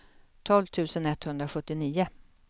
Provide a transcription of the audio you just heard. tolv tusen etthundrasjuttionio